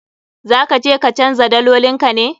Za ka je ka canja dalolin ka ne?